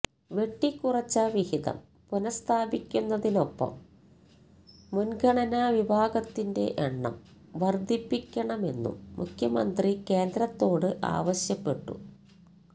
വെട്ടിക്കുറച്ച വിഹിതം പുനഃസ്ഥാപിക്കുന്നതിനൊപ്പം മുന്ഗണനാ വിഭാഗത്തിന്റെ എണ്ണം വര്ധിപ്പിക്കണമെന്നും മുഖ്യമന്ത്രി കേന്ദ്രത്തോട് ആവശ്യപ്പെട്ടു